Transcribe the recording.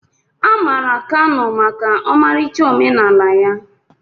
A maara Kano maka ọmarịcha omenala ya.